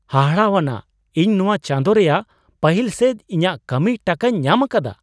ᱦᱟᱦᱟᱲᱟᱣᱟᱱᱟᱜ ! ᱤᱧ ᱱᱚᱣᱟ ᱪᱟᱸᱫᱚ ᱨᱮᱭᱟᱜ ᱯᱟᱹᱦᱤᱞ ᱥᱮᱡ ᱤᱧᱟᱜ ᱠᱟᱹᱢᱤ ᱴᱟᱠᱟᱧ ᱧᱟᱢ ᱟᱠᱟᱫᱟ !